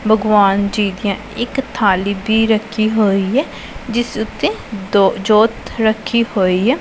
ਭਗਵਾਨ ਜੀ ਦੀਆਂ ਇੱਕ ਥਾਲੀ ਭੀ ਰੱਖੀ ਹੋਈ ਐ ਜਿਸ ਉੱਤੇ ਦੋ ਜੋਤ ਰੱਖੀ ਹੋਈ ਐ।